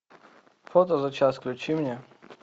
фото за час включи мне